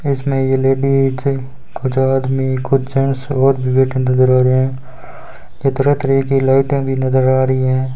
इसमें ये लेडिस कुछ आदमी कुछ जेंट्स और भी बैठे नजर आ रहे हैं तरह तरह की लाइटें भी नजर आ रही हैं।